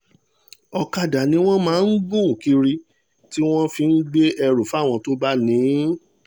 ọ̀kadà ni wọ́n máa ń gùn kiri tí wọ́n fi ń gbé ẹrù fáwọn tó bá ní in